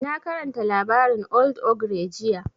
Na karanta labarin old ogre jiya